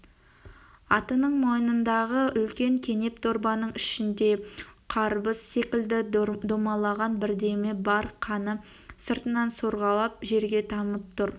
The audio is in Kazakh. атының мойнындағы үлкен кенеп дорбаның ішінде қарбыз секілді домаланған бірдеме бар қаны сыртынан сорғалап жерге тамып тұр